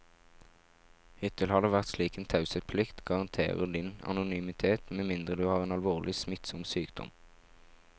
Hittil har det vært slik at taushetsplikten garanterer din anonymitet med mindre du har en alvorlig, smittsom sykdom.